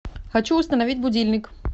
хочу установить будильник